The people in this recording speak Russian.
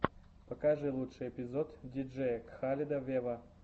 покажи лучший эпизод диджея кхаледа вево